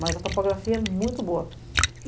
Mas a topografia é muito boa.